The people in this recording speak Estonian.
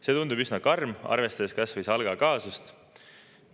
See tundub üsna karm, arvestades kasvõi SALK‑i kaasust.